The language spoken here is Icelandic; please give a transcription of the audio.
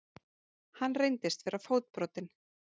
Hann reyndist vera fótbrotinn